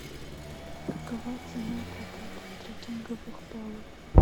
какова цена проката трекинговых палок